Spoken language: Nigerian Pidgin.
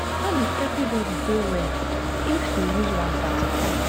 no be everybody dey well if you use one pattern.